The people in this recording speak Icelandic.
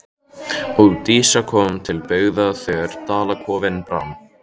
Og Dísa kom til byggða þegar Dalakofinn brann.